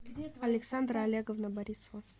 александра олеговна борисова